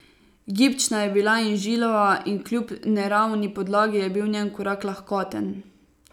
Gibčna je bila in žilava in kljub neravni podlagi je bil njen korak lahkoten.